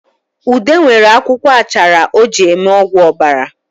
Ude nwere akwụkwọ achara o ji eme ọgwụ obara